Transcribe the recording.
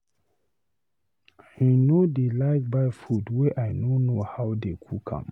I no dey like to buy food wey I no know how they cook am